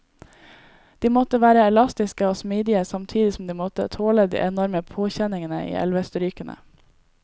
De måtte være elastiske og smidige, samtidig som de måtte tåle de enorme påkjenningene i elvestrykene.